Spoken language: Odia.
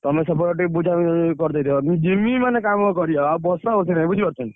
ମୁଁ ଏପଟୁ ତମକୁ PhonePe କରିଦେବି ପଇସାଟା ତମେ ସେପଟେ ଟିକେ ବୁଝାବୁଝି କରିଦେଇଥିବ ଯିମି ମାନେ କାମ କରିବା ଆଉ ବସାବସି ନାଇ।